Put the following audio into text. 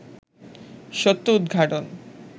সত্য উদঘাটন